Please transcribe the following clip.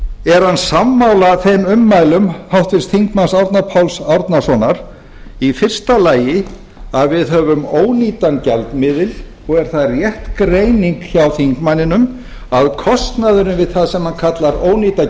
er hann sammála þeim ummælum háttvirts þingmanns árna páls árnasonar í fyrsta lagi að við höfum ónýtan gjaldmiðil og er það rétt greining hjá þingmanninum að kostnaðurinn við það sem hann kallar ónýta